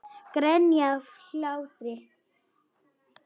Grenja af hlátri.